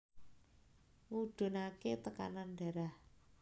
Ngudhunaké tekanan darah